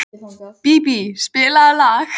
Bíbí, spilaðu lag.